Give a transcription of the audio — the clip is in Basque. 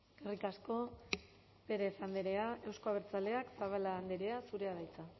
eskerrik asko pérez andrea euzko abertzaleak zabala andrea zurea da hitza